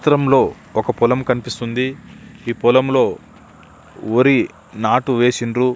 ఈ చిత్రంలో ఒక పొలం కనిపిస్తున్నది ఈ పొలంలో వరి నాటు వేసిండ్రు.